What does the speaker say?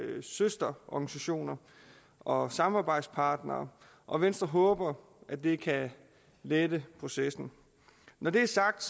søsterorganisationer og samarbejdspartnere og venstre håber at det kan lette processen når det er sagt